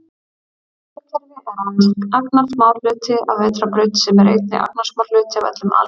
Sólkerfi er aðeins agnarsmár hluti af vetrarbraut sem er einnig agnarsmár hluti af öllum alheiminum.